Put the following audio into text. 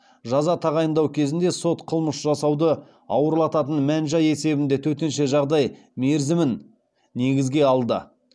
жаза тағайындау кезінде сот қылмыс жасауды ауырлататын мән жай есебінде төтенше жағдай мерзімін негізге алды